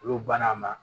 Olu banna ma